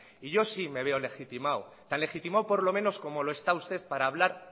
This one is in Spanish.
y yo sí me veo legitimado tan legitimado por lo menos como lo está usted para hablar